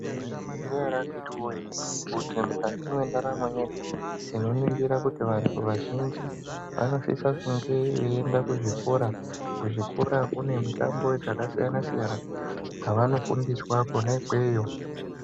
Maizviziya ere akhiti woye kuti mukati mendaramo yedu inoningira kuti vantu vazhinji vanosise kunge veiende kuzvikora? Kuzvikora kune mitambo dzakasiyana-siyana dzavanofundiswa kona ikweyo.